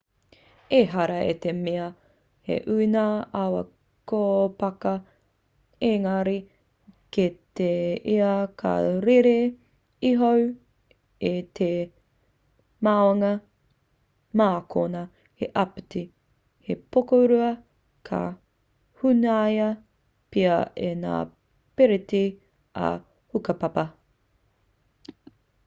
ehara i te mea he ū ngā awa kōpaka engari kē ia ka rere iho i te maunga mā konā he āpiti he pokorua ka hunaia pea e ngā piriti ā-hukapapa